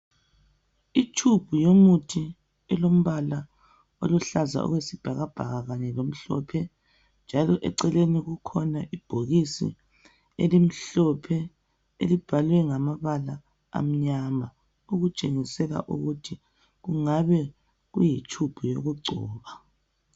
Ithubi yomuthi elombala oluhlaza okwesibhakabhaka lomhlophe njalo eceleni kukhona imibhokisi elimhlophe elibhalwe ngamabala amnyama okutshengisela ukuthi kungabe kuyithubi yokugcoba